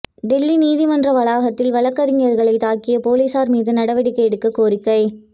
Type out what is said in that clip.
டெல்லி நீதிமன்ற வளாகத்தில் வழக்கறிஞர்களை தாக்கிய போலீசார் மீது நடவடிக்கை எடுக்கக் கோரிக்கை